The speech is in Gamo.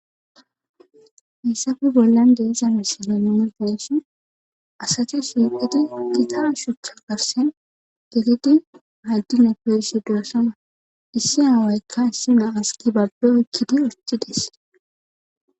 Hessafe bollan deezamisane numerdensu asatu siqeti gitara shucha garsen gegidi hayddine fesi doosama issi haawaykka issi naas ki babbe oykkidi urci des.